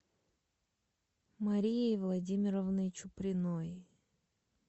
марией владимировной чуприной